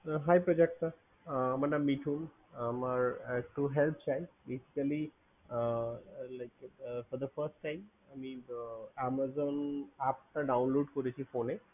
Hi প্রযুক্তা আমার নাম মিঠু আমার একটু help চাই literally for the first time আমি Amazon app টা download করেছি phone এ